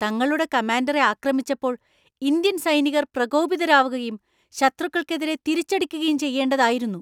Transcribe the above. തങ്ങളുടെ കമാൻഡറെ ആക്രമിച്ചപ്പോൾ ഇന്ത്യൻ സൈനികർ പ്രകോപിതരാകുകയും ശത്രുക്കൾക്കെതിരെ തിരിച്ചടിക്കുകയും ചെയ്യേണ്ടതായിരുന്നു.